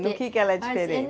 No que ela é diferente?